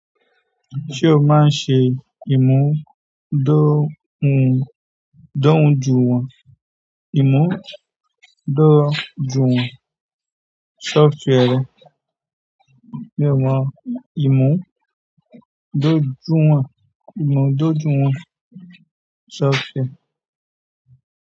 Ṣé o máa ń ṣe ìmúdóhun-dóhunjuwọn, ìmúdójúwon software rẹ? Mi ò mọ ìmúdójúwon, ìmúdójúwon software.